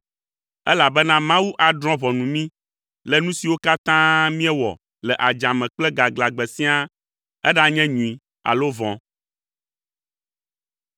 elabena Mawu adrɔ̃ ʋɔnu mí le nu siwo katã míewɔ le adzame kple gaglãgbe siaa, eɖanye nyui alo vɔ̃.